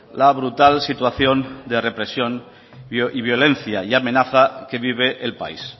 la brutal situación de represión y violencia y amenaza que vive el país